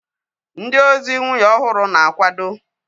Ndị ozi nwunye ọhụrụ na-akwado